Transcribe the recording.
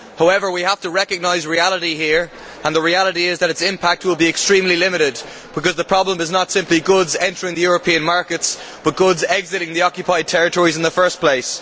However, we have to recognise reality here and the reality is that its impact will be extremely limited because the problem is not simply goods entering the European markets but goods exiting the occupied territories in the first place.